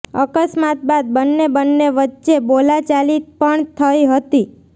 અકસ્માત બાદ બંને બંને વચ્ચે બોલાચાલી પણ થઈ હતી